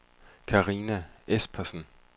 Karina Espersen